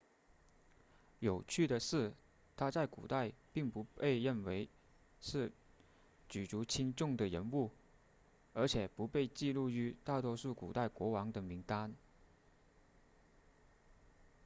有趣的是他在古代并不被认为是举足轻重的人物而且不被记录于大多数古代国王的名单